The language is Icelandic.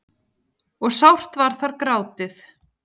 og sárt var þar grátið.